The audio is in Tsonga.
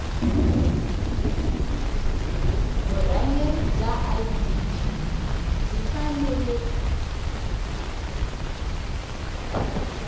vurhangeri bya idp yi fanele